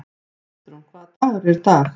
Kristrún, hvaða dagur er í dag?